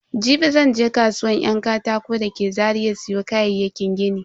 Jibi zan je kasuwan yan katako da ke Zaria siyo kayayyakin gini.